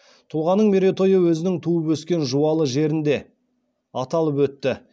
тұлғаның мерейтойы өзінің туып өскен жуалы жерінде аталып өтті